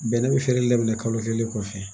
Bɛnɛ bi feere daminɛ kalo kelen kɔfɛ